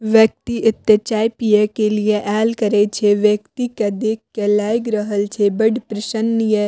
व्यक्ति एते चाय पिये के लिए आएल करे छै व्यक्ति के देख के लाएग रहल छै बड़ प्रसन्न ये --